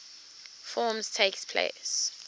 forms takes place